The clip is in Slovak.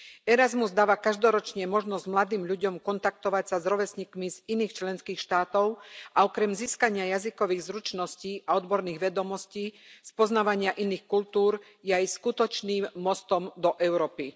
Erasmus dáva každoročne možnosť mladým ľudom kontaktovať sa s rovesníkmi z iných členských štátov a okrem získania jazykových zručností a odborných vedomostí, spoznávania iných kultúr je aj skutočným mostom do Európy.